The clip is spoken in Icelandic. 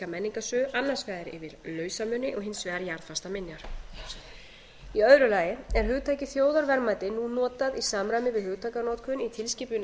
menningarsögu annars vegar yfir lausamuni og hins vegar jarðfastar minjar annars hugtakið þjóðarverðmæti er nú notað í samræmi við hugtakanotkun í tilskipun